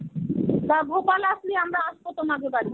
তা ভোপাল আসলি আমরা আসবো তোমাদের বাড়ি.